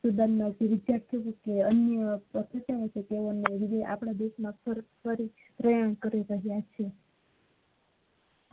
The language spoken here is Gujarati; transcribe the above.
student અન્ય કોઈ આપડા દેશ ના શરૂ કરી રહિયા છે